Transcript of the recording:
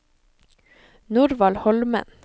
Norvald Holmen